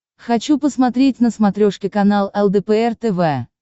хочу посмотреть на смотрешке канал лдпр тв